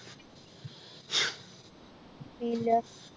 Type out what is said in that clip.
ഇല്ല